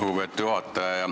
Lugupeetud juhataja!